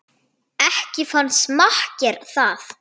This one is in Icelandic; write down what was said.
Ekki fannst makker það